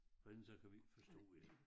For ellers så kan vi ikke forstå jer